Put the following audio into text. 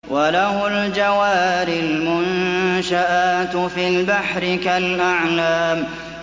وَلَهُ الْجَوَارِ الْمُنشَآتُ فِي الْبَحْرِ كَالْأَعْلَامِ